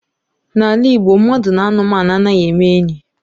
N'ala Igbo mmadụ na anụmanụ anaghị eme enyi.